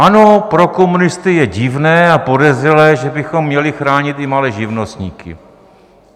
Ano, pro komunisty je divné a podezřelé, že bychom měli chránit i malé živnostníky.